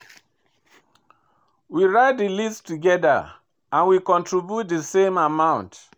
We write di list togeda and we contribute di same amount.